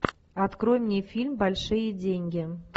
открой мне фильм большие деньги